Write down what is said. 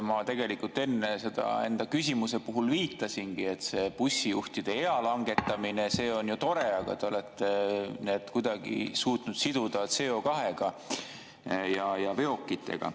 Ma tegelikult enne enda küsimuse puhul viitasingi sellele, et bussijuhtide ea langetamine on ju tore, aga te olete kuidagi suutnud selle siduda CO2-ga ja veokitega.